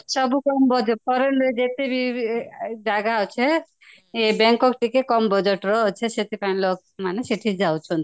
ସବୁ foreign ଯେତେବି ଯାଗା ଅଛି Bangkok ଟିକେ କାମ budget ର ଅଛି ସେଠି ପାଇଁ ଲୋକ ମାନେ ସେଠିକି ଯାଉଛନ୍ତି